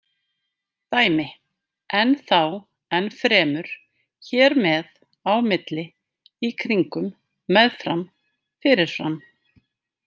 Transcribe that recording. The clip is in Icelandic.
Dæmi: enn þá, enn fremur, hér með, á milli, í kringum, með fram, fyrir fram.